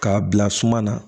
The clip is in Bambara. K'a bila suma na